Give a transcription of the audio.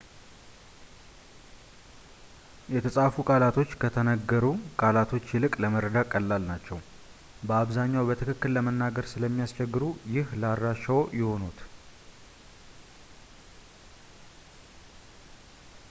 የተጻፉ ቃላቶች ከተነግሩ ቃላቶች ይልቅ ለመረዳት ቀላል ናቸው። በአብዛኛው በትክክል ለመናገር ስለሚያስቸግሩ ይህ ለአድራሻዎች እውነት ይሆናል